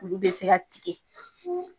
Olu be se ka tigɛ.